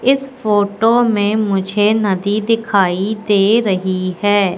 इस फोटो में मुझे नदी दिखाई दे रही है।